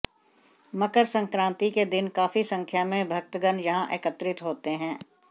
मकर सक्रांति के दिन काफी संख्या में भक्तगण यहाँ एकत्रित होते हैं